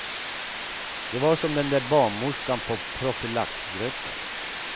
Det var som den där barnmorskan på profylaxgruppen.